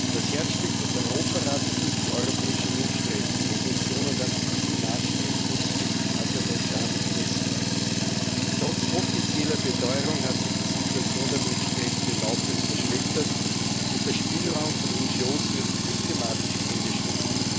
Das Herzstück des Europarates ist die Europäische Menschenrechtskonvention, und an diesen Maßstäben muss sich Aserbaidschan messen lassen. Trotz offizieller Beteuerung hat sich die Situation der Menschenrechte laufend verschlechtert, und der Spielraum von NGOs wird systematisch eingeschränkt.